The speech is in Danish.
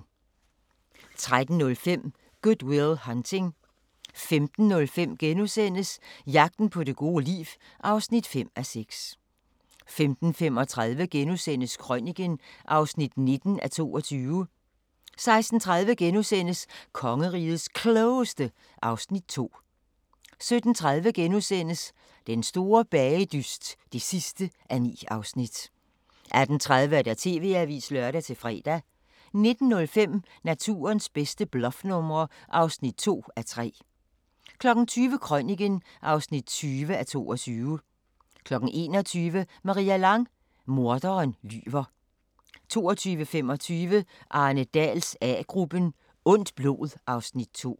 13:05: Good Will Hunting 15:05: Jagten på det gode liv (5:6)* 15:35: Krøniken (19:22)* 16:30: Kongerigets Klogeste (Afs. 2)* 17:30: Den store bagedyst (9:9)* 18:30: TV-avisen (lør-fre) 19:05: Naturens bedste bluffnumre (2:3) 20:00: Krøniken (20:22) 21:00: Maria Lang: Morderen lyver 22:25: Arne Dahls A-gruppen: Ondt blod (Afs. 2)